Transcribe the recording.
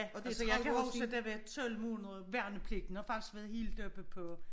Altså jeg kan huske det var 12 måneders værnepligt den har faktisk været helt oppe på